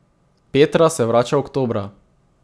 Petra se vrača oktobra.